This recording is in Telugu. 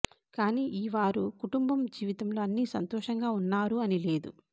కానీ ఈ వారు కుటుంబం జీవితంలో అన్ని సంతోషంగా ఉన్నారు అని లేదు